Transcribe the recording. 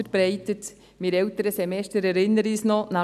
Einige erinnern sich noch daran: